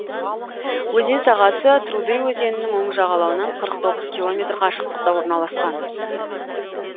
өзен сағасы труды өзенінің оң жағалауынан қырық тоғыз километр қашықтықта орналасқан